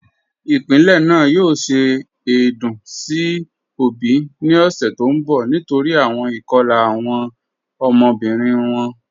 Ipilẹ́ naà yòò ṣẹ̀ èdún sí obì ni ọ̀ṣẹ̀ tó nbọ̀ nítorí awọn ikọ̀la awọn ọmọbirin wọn.